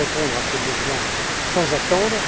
Nous allons répondre à ces besoins sans attendre.